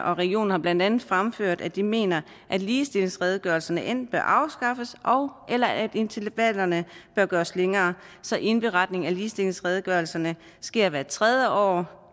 og regionen har blandt andet fremført at de mener at ligestillingsredegørelserne enten bør afskaffes eller at intervallerne bør gøres længere så indberetning af ligestillingsredegørelserne sker hvert tredje år